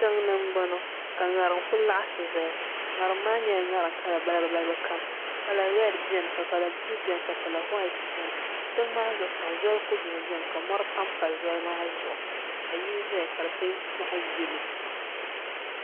tiŋ ni n boŋo ka ŋarim ku laɣasi ʒɛya ŋarim maa nyɛla ŋarim kala balibu balibu kam kala rɛd biɛni ka kala buluu biɛni ka kala whait biɛni tiŋ maa zuɣusaa zoli ku dumi biɛni ka mori panpa zoli maa zuɣu ka yili ʒɛya ka di peenti zaɣ yɛlo